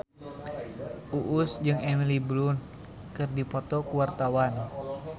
Uus jeung Emily Blunt keur dipoto ku wartawan